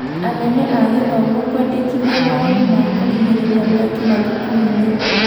Anene a gĩthomo kwendekithia mawonĩ ma kũrigĩrĩria mĩaki mathukuru-inĩ.